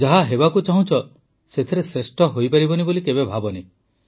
ଯାହା ହେବାକୁ ଚାହୁଁଛ ସେଥିରେ ଶ୍ରେଷ୍ଠ ହୋଇପାରିବନି ବୋଲି ଭାବନି